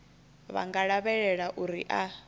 vha nga lavhelela uri a